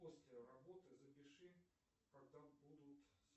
после работы запиши когда будут